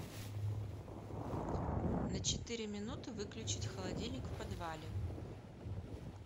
на четыре минуты выключить холодильник в подвале